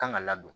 Kan ka ladon